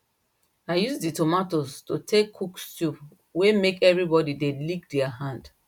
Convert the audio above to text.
i use the tomatoes to take cook stew way make everybody they lick their hand